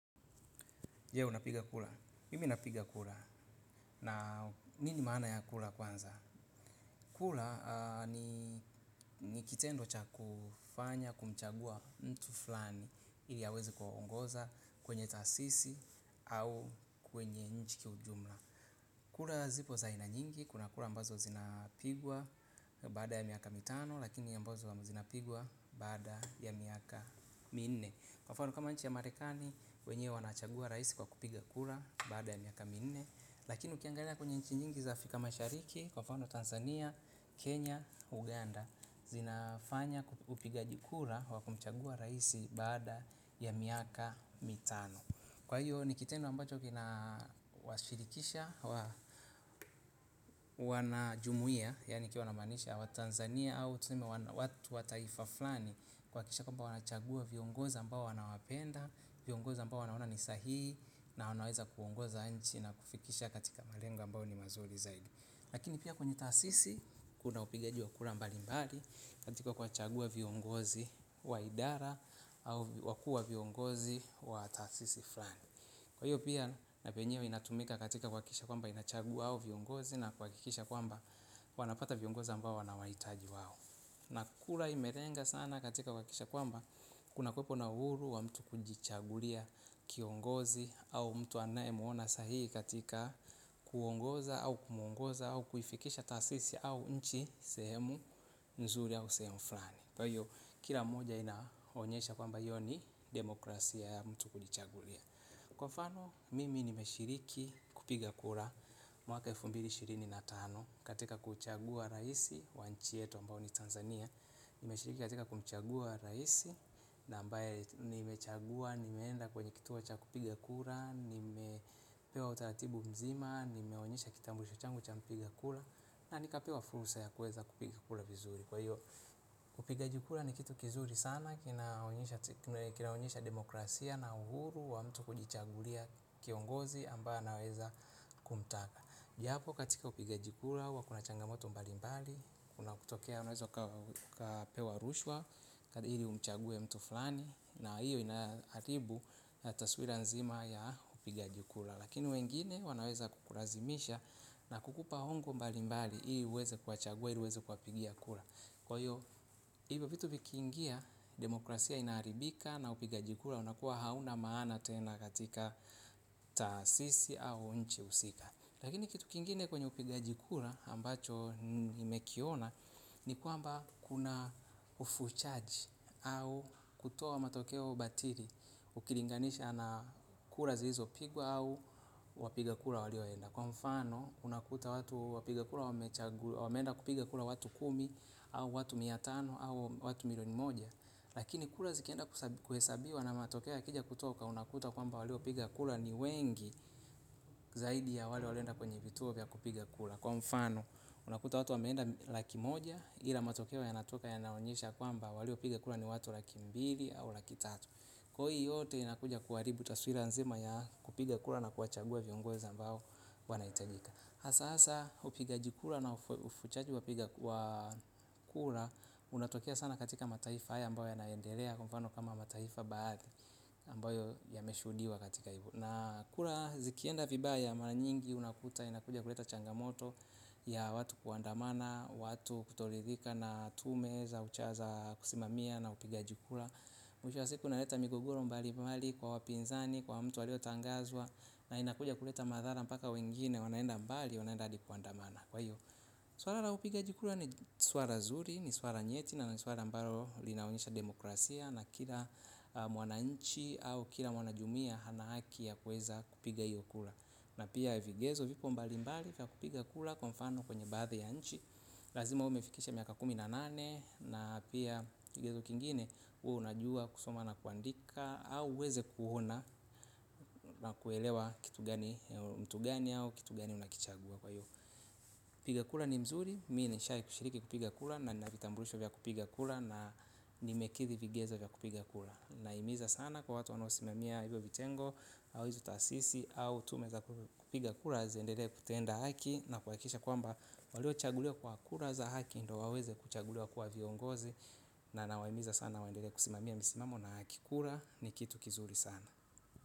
Je, unapiga kula. Mimi napiga kula. Na nini maana ya kula kwanza. Kula ni kitendo cha kufanya, kumchagua mtu flani ili aweze kuwaongoza kwenye tasisi au kwenye nchi kiujumla. Kula zipo zaa ina nyingi. Kuna kula ambazo zinapigwa ya baada ya miaka mitano, lakini ambazo zinapigwa baada ya miaka minne. Kwa mfano kama nchi ya marekani, wenyewe wanachagua raisi kwa kupiga kura baada miaka minne. Lakini ukiangalia kwenye nchi nyingi za afika mashariki, kwa mfano Tanzania, Kenya, Uganda. Zinafanya upigaji kura wa kumchagua raisi baada ya miaka mitano. Kwa hiyo ni kitendo ambacho kinawashirikisha, wanajumuia, yani nikiwa namaanisha Watanzania au tuseme watu wa taifa flani kuhakikisha kwamba wanachagua viongozi ambao wanawapenda. Viongozi ambao wanaona ni sahii na wanaweza kuongoza nchi na kufikisha katika malengo ambayo ni mazuri zaidi. Lakini pia kwenye tasisi kuna upigaji wa kura mbalimbali katika kuwachagua viongozi wa idara au wakua viongozi wa tasisi fulani. Kwa hiyo pia na penyewe inatumika katika kuhakikisha kwamba inachagua hao viongozi na kuhakikisha kwamba wanapata viongozi ambao wanawahitaji wao. Na kura imelenga sana katika kuhakikisha kwamba kuna kuwepo na uhuru wa mtu kujichagulia kiongozi au mtu anaemuona sahii katika kuongoza au kumuongoza au kuifikisha tasisi au nchi sehemu nzuri au sehemu fulani. Kwa hiyo kila mmoja inaonyesha kwamba hiyo ni demokrasia ya mtu kujichagulia. Kwa fano mimi nimeshiriki kupiga kura mwaka elfu mbili ishirini na tano katika kuchagua raisi wanchi yetu mbao ni Tanzania. Nimeshiriki katika kumchagua raisi na ambaye nimechagua nimeenda kwenye kituo cha kupiga kura nimepewa utaratibu mzima nimeonyesha kitambulisho changu cha kupiga kura na nikapewa fursa ya kuweza kupiga kura vizuri kwa hiyo upigaji kura ni kitu kizuri sana, kinaonyesha demokrasia na uhuru wa mtu kujichagulia kiongozi ambae anaweza kumtaka. Japo katika upigaji kura, huwa kuna changamoto mbalimbali, kuna kutokea, wanaweza kapewa rushwa, ili umchagwe mtu fulani, na hiyo inaharibu taswira nzima ya upig ji kura. Lakini wengine wanaweza kukulazimisha na kukupa hongo mbalimbali, ili uweze kuwachagua, ili uweze kuwapigia kura. Kwa hiyo, hivyo vitu vikiingia, demokrasia inaharibika na upigaji kura unakuwa hauna maana tena katika tasisi au nchi husika. Lakini kitu kingine kwenye upigaji kura ambacho nimekiona, ni kwamba kuna ufuchaji au kutoa matokeo batiri, ukilinganisha na kura zilizopigwa au wapiga kula walioenda. Kwa mfano unakuta watu wapiga kura wameenda kupiga kura watu kumi au watu mia tano au watu milioni moja. Lakini kura zikienda kuhesabiwa na matokea yakija kutoka unakuta kwamba waliopiga kura ni wengi zaidi ya walienda kwenye vituo vya kupiga kura. Kwa mfano unakuta watu wameenda laki moja ila matokea ya natoka yanaonyesha kwamba waliopiga kura ni watu laki mbili au laki tatu. Kwa hii yote inakuja kuharibu taswira nzima ya kupiga kura na kuwachagua viongozi ambao wanahitajika hAsa hasa upigaji kura na ufuchaji wapiga kura. Unatokea sana katika mataifa haya ambayo yanaendelea kwa mfano kama mataifa baadhi ambayo yameshudiwa katika hivo. Na kura zikienda vibaya mara nyingi unakuta inakuja kuleta changamoto. Ya watu kuandamana, watu kutoridhika na tume za uchaza kusimamia na upigaji kura. Mwisho wa siku inaleta migogoro mbalimbali kwa wapinzani, kwa mtu aliotangazwa. Na inakuja kuleta madhara mpaka wengine wanaenda mbali wanaenda hadi kuandamana swala la upigaji kura ni swala nzuri ni swal nyeti na ni swala ambalo linaonyesha demokrasia na kila mwananchi au kila mwanajumuia ana haki ya kuweza kupiga hiyo kura na pia vigezo vipo mbalimbali vya kupiga kura kwa mfano baadhi ya nchi. Lazima umefikisha miaka kumi na nane na pia kigezo kingine uwe unajua kusoma na kuandika au uweze kuona na kuelewa kitu gani kitu gani au kitu gani unakichagua kwa hivyo kupiga kura ni mzuri mi nishai kushiriki kupiga kura na nina vitambulisho vya kupiga kura na nimekidhi vigezo vya kupiga kura na nahimiza sana kwa watu wanaosimamia hizo vitengo. Au hizo tasisi, au tume za kupiga kura ziendelee kutenda haki na kuhakikisha kwamba waliochagulio kwa kura za haki ndo waweze kuchagulio kuwa viongozi. Na nawahimiza sana waendelee kusimamia misimamo na haki kura ni kitu kizuri sana.